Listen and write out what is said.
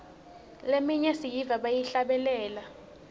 leminye siyiva bayihlabelela